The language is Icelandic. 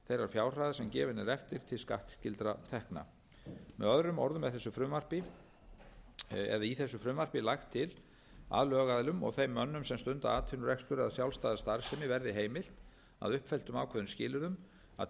fjárhæðar sem gefin er eftir til skattskyldra tekna með öðrum orðum er þessu frumvarpi eða í þessu frumvarpi lagt til að lögaðilum og þeim mönnum sem stunda atvinnurekstur eða sjálfstæða starfsemi verði heimilt að uppfylltum ákveðnumskilyrðum að